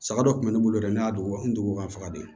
Saga dɔ kun bɛ ne bolo yɛrɛ ne y'a dugukolo nugu ka faga de